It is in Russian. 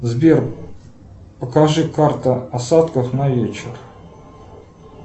сбер покажи карта осадков на вечер